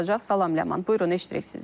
Salam Ləman, buyurun eşidirik sizi.